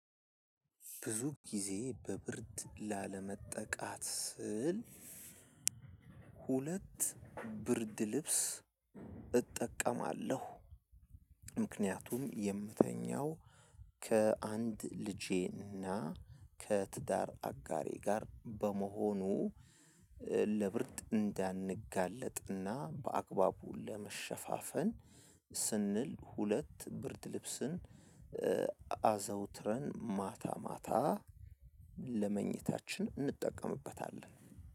ብዙ ጊዜ በብርድ ላለመጠቃት ስል ሁለት ብርድ ልብስ እጠቀማለሁ። ምክንያቱም የምተኛው ከአንድ ልጄና ከትዳር አጋሬ ጋር በመሆኑ ለብርድ እንዳንጋለጥና በአግባቡ ለመሸፋፈን ስንል ሁለት ብርድ ልብስን። አዘውትረን ማታ ማታ ለመኝታችን እንጠቀምበታለን።